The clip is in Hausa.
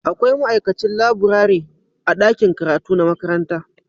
Akwai ma'aikacin laburare a ɗakin karatu na makaranta